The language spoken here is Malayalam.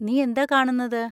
നീ എന്താ കാണുന്നത്?